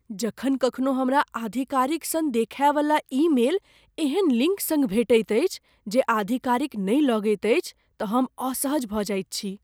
जखन कखनो हमरा आधिकारिक सन देखाइवला ईमेल एहन लिङ्क सङ्ग भेटैत अछि जे आधिकारिक नहि लगैत अछि तँ हम असहज भऽ जाइत छी।